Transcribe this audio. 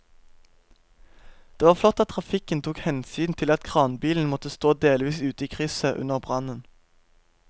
Det var flott at trafikken tok hensyn til at kranbilen måtte stå delvis ute i krysset under brannen.